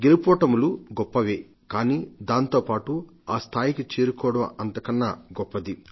గెలుపోటములు గొప్పవే కానీ దాంతో పాటు ఆస్థాయికి చేరుకోవడం అంతకన్నా గొప్పది